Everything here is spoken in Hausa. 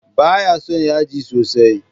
Ba ya son yaji sosai.